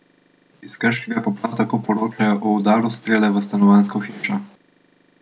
Iz Krškega pa prav tako poročajo o udaru strele v stanovanjsko hišo.